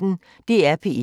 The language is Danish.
DR P1